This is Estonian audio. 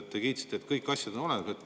Te kiitsite, et kõik asjad on olemas.